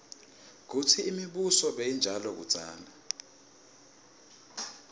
kutsi imibuso beyinjani kudzala